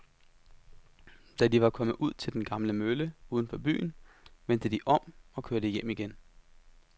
Da de var kommet ud til den gamle mølle uden for byen, vendte de om og kørte hjem igen.